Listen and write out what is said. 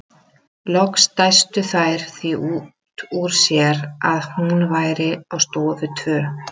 Loks dæstu þær því út úr sér að hún væru á stofu tvö.